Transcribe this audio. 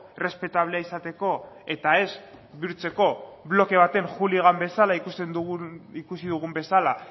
errespetablea izateko eta ez bihurtzeko bloke baten hooligan bezala ikusi dugun bezala